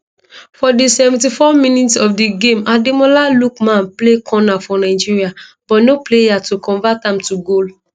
for di 74minutes of di game ademola lookmanplay corner for nigeria but no player to convert am to goal